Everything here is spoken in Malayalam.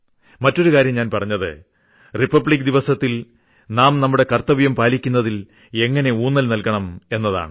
മറ്റൊരു കാര്യം ഞാൻ പറഞ്ഞത് റിപ്പബ്ലിക് ദിനത്തിൽ നാം നമ്മുടെ കർത്തവ്യം പാലിക്കുന്നതിൽ എങ്ങിനെ ഊന്നൽ നൽകണം എന്നതാണ്